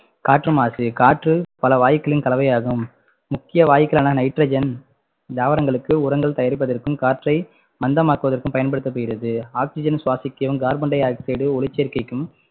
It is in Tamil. காற்று மாசு காற்று பல வாயுக்களின் கலவை ஆகும் முக்கிய வாயுக்களான nitrogen தாவரங்களுக்கு உரங்கள் தயாரிப்பதற்கும் காற்றை மந்தமாக்குவதற்கும் பயன்படுத்தப்படுகிறது oxygen சுவாசிக்கவும் carbon di-oxide ஒளிச்சேர்க்கைக்கும்